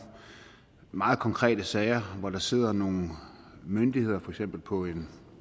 meget konkrete sager hvor der sidder nogle myndigheder for eksempel på en